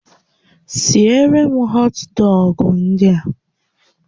Siere m họt dọgụ ndị a!